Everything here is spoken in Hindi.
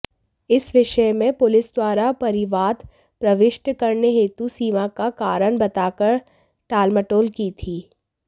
इस विषयमें पुलिसद्वारा परिवाद प्रविष्ट करने हेतु सीमाका कारण बताकर टालमटोल की थी